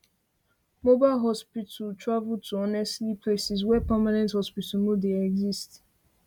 mobile hospital travel to honestly places where permanent hospitals no dey exist